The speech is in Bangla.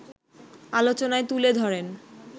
আলোচনায় তুলে ধরেন